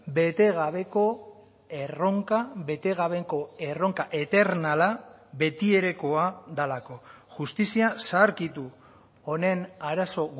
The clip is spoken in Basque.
betegabeko erronka betegabeko erronka eternala betierekoa delako justizia zaharkitu honen arazo